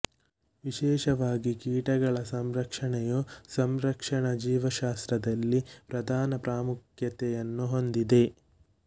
ವಿಶೇಷವಾಗಿ ಕೀಟಗಳ ಸಂರಕ್ಷಣೆಯು ಸಂರಕ್ಷಣಾ ಜೀವಶಾಸ್ತ್ರದಲ್ಲಿ ಪ್ರಧಾನ ಪ್ರಾಮುಖ್ಯತೆಯನ್ನು ಹೊಂದಿದೆ